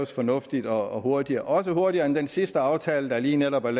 fornuftigt og hurtigt også hurtigere end den sidste aftale der lige netop er